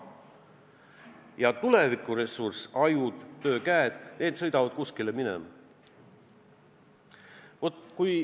Aga tulevikuressurss – ajud, töökäed – suundub kuskile mujale.